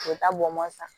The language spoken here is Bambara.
U bɛ taa bɔn san